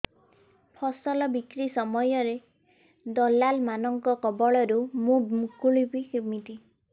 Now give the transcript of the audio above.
ଫସଲ ବିକ୍ରୀ ସମୟରେ ଦଲାଲ୍ ମାନଙ୍କ କବଳରୁ ମୁଁ ମୁକୁଳିଵି କେମିତି